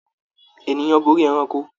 Ènìyàn borí ẹranko.